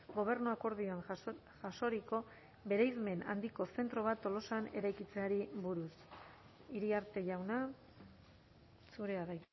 gobernu akordioan jasoriko bereizmen handiko zentro bat tolosan eraikitzeari buruz iriarte jauna zurea da